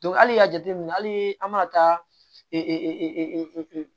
hali y'a jateminɛ hali an ma taa